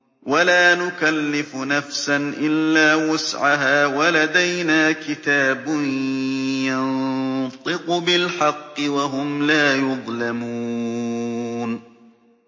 وَلَا نُكَلِّفُ نَفْسًا إِلَّا وُسْعَهَا ۖ وَلَدَيْنَا كِتَابٌ يَنطِقُ بِالْحَقِّ ۚ وَهُمْ لَا يُظْلَمُونَ